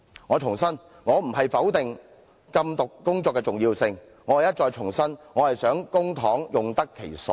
我重申我並非否定禁毒工作的重要性，而是想再重申我希望公帑用得其所。